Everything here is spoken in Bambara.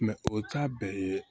o ta bɛɛ ye